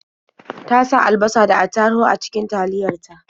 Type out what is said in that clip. Ta sa alabasa da attaruhu a cikin taliyar ta.